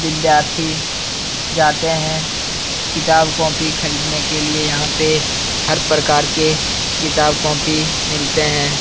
विद्यार्थी जातें है किताब कॉपी खरीदने के लिए यहाँ पे हर प्रकार के किताब कॉपी मिलते हैं।